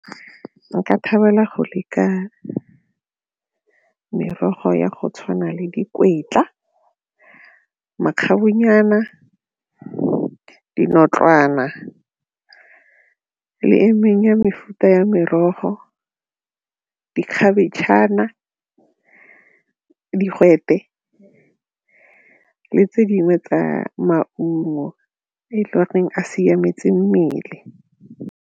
Nka thabela go le ka merogo ya go tshwana le dinotlwana le e mengwe ya mefuta ya merogo dikhabetšhana, digwete le tse dingwe tsa maungo e le goreng a siametse mmele.